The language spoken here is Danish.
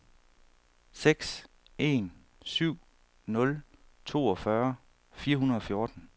seks en syv nul toogfyrre fire hundrede og fjorten